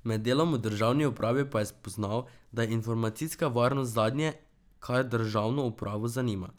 Med delom v državni upravi pa je spoznal, da je informacijska varnost zadnje, kar državno upravo zanima.